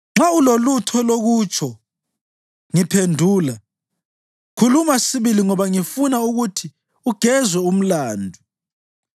Nxa ulolutho lokutsho, ngiphendula; khuluma sibili, ngoba ngifuna ukuthi ugezwe umlandu.